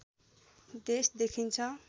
देश देखिन्छ